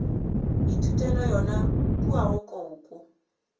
ithutela yona kua go koko